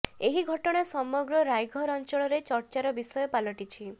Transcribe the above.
ଏହି ଘଟଣା ସମଗ୍ର ରାଇଘର ଅଞ୍ଚଳରେ ଚର୍ଚାର ବିଷୟ ପାଲଟିଛି